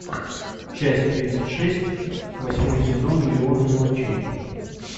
часть тридцать шесть восьмой сезон миллионы мелочей